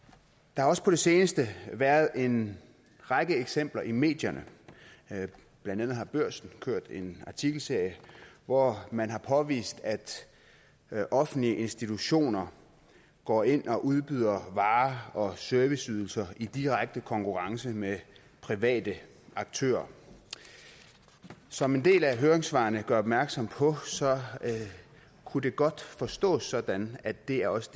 der har også på det seneste været en række eksempler i medierne blandt andet har børsen kørt en artikelserie hvor man har påvist at at offentlige institutioner går ind og udbyder varer og serviceydelser i direkte konkurrence med private aktører som en del af høringssvarene gør opmærksom på kunne det godt forstås sådan at det også